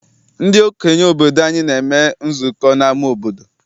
Ndị okenye obodo anyị na-eme nzukọ n'ama obodo.